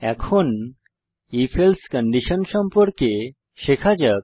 এখন if else condition সম্পর্কে শেখা যাক